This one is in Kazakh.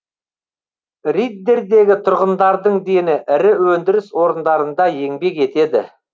риддердегі тұрғындардың дені ірі өндіріс орындарында еңбек етеді